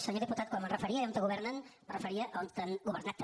senyor diputat quan em referia a allà on governen em referia a on han governat també